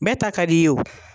Bɛɛ ta ka di ye wo.